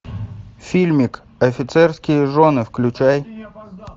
фильмик офицерские жены включай